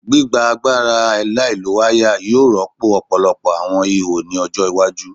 Gbigba agbara alailowaya yoo rọpo ọpọlọpọ awọn iho ni ọjọ iwaju